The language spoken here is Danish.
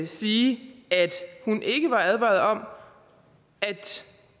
sige at hun ikke var advaret om at